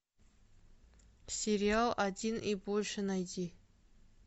сериал один и больше найди